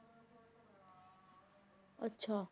ਅੱਛਾ।